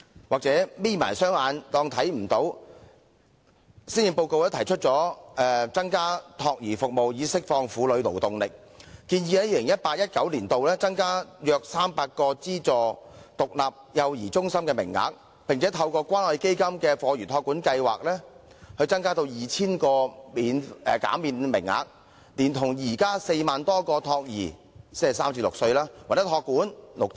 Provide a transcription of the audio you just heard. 或許是"'瞇'起雙眼便看不見"，施政報告提出增加託兒服務以釋放婦女勞動力，建議在 2018-2019 年度增加約300個資助獨立幼兒中心名額，並透過關愛基金的課餘託管收費減免計劃，增加 2,000 個減免名額，以配合現有的4萬多個託兒或託管名額。